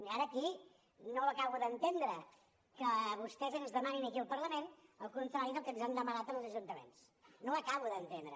i ara aquí no ho acabo d’entendre que vostès ens demanin aquí al parlament el contrari del que ens han demanat en els ajuntaments no ho acabo d’entendre